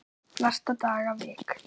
Flesta daga vik